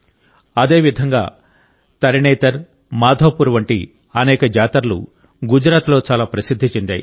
అదేవిధంగా తరణేతర్ మాధోపూర్ వంటి అనేక జాతరలు గుజరాత్లో చాలా ప్రసిద్ధి చెందాయి